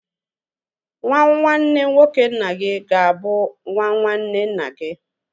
Nwa nwanne nwoke nna gị ga-abụ nwa nwanne nna gi